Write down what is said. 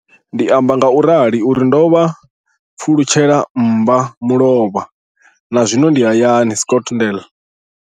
Ndi amba ngauralo nga uri ndo pfulutshela mmba mulovha na zwino ndi hayani, Scotland.